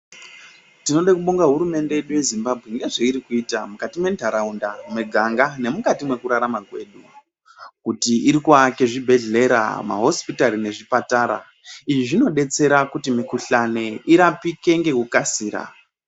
Tinode kubonga hurumende yedu yezimbabwe ngezveiti kuita mukati mwentaraunda muganga nemukati mwekurarama kwedu kuti iri kuake zvibhedhlera mahosipitari nezvipatara izvi zvinodetsera kuti mikhuhlani irapike ngekukasira.